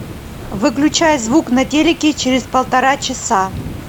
выключай звук на телике через полтора часа